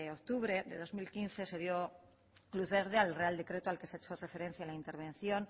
octubre de dos mil quince se dio luz verde al real decreto al que se ha hecho referencia en la intervención